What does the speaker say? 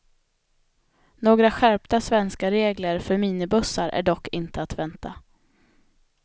Några skärpta svenska regler för minibussar är dock inte att vänta.